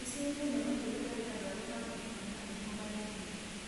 Nĩciũĩkaine makĩria harĩ andũ arĩa mamenyekana na mũrimũ marĩ anini